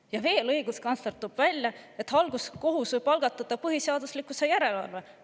Ja veel õiguskantsler toob välja, et halduskohus võib algatada põhiseaduslikkuse järelevalve.